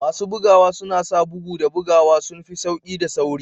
Masu bugawa suna sa bugu da buguwa sun fi sauƙi da sauri